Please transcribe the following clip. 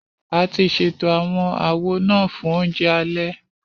A ti ṣètò àwọn àwo náà fún oúnjẹ alẹ